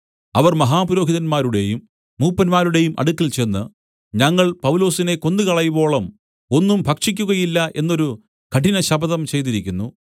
അവർ മഹാപുരോഹിതന്മാരുടെയും മൂപ്പന്മാരുടെയും അടുക്കൽ ചെന്ന് ഞങ്ങൾ പൗലൊസിനെ കൊന്നുകളയുവോളം ഒന്നും ഭക്ഷിക്കുകയില്ല എന്നൊരു കഠിനശപഥം ചെയ്തിരിക്കുന്നു